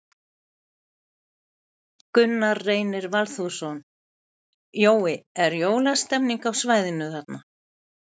Gunnar Reynir Valþórsson: Jói, er jólastemmning á svæðinu þarna?